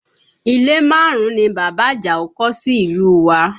Ilé márùn-ún ni bàbá Àjàó kọ́ sí ìlú u wa